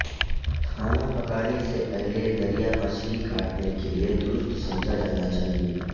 کھانا پکانے سے پہلے دریا مچھلی کاٹنے کے لئے درست سمجھا جانا چاہئے